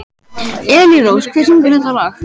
Elírós, hver syngur þetta lag?